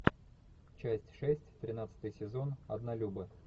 часть шесть тринадцатый сезон однолюбы